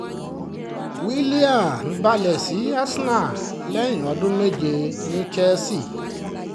willian balẹ̀ sí arsenal lẹ́yìn ọdún méje ní chelsea